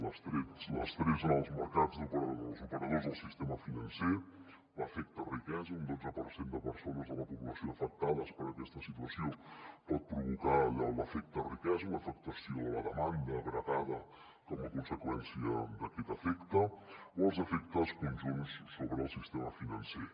l’estrès en els mercats d’operadors els operadors del sistema financer l’efecte riquesa un dotze per cent de persones de la població afectades per aquesta situació pot provocar l’efecte riquesa una afectació de la demanda agregada com a conseqüència d’aquest efecte o els efectes conjunts sobre el sistema financer